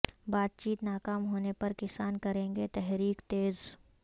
بات چیت ناکام ہونے پر کسان کریں گے تحریک تیز